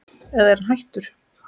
eða er hann hættur?